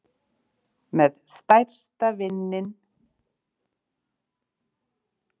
Með stærsta vininn í landsliðinu